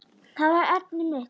Það var efnið mitt.